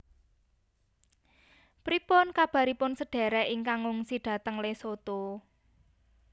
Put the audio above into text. Pripun kabaripun sedherek ingkang ngungsi dateng Lesotho?